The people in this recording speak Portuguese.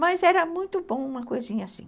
Mas era muito bom uma coisinha assim.